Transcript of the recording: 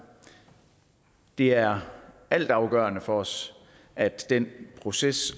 det er altafgørende for os at den proces